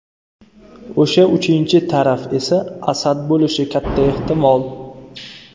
O‘sha uchinchi taraf esa Asad bo‘lishi katta ehtimol.